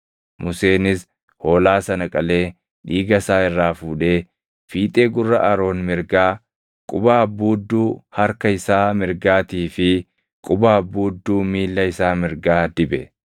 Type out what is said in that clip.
Museenis hoolaa sana qalee dhiiga isaa irraa fuudhee fiixee gurra Aroon mirgaa, quba abbuudduu harka isaa mirgaatii fi quba abbuudduu miilla isaa mirgaa dibe.